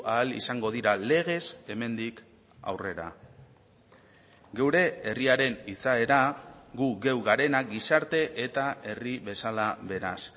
ahal izango dira legez hemendik aurrera geure herriaren izaera gu geu garenak gizarte eta herri bezala beraz